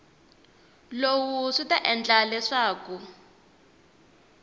lowu swi ta endla leswaku